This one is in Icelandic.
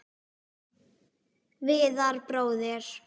Viðar bróðir.